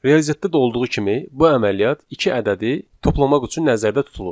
Riyaziyyatda da olduğu kimi bu əməliyyat iki ədədi toplamaq üçün nəzərdə tutulur.